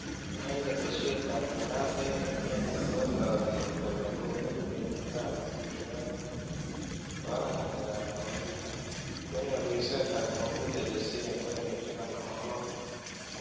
Eng' ketesyet ap ng'alaaseet ing' kenya katook kole kobeeku kenyit ap 2020, chewale ng'aleek ap kompyuta , konyoor wiseet ap kompyuta chesiire milionisiek 56.